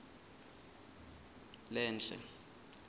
lenhle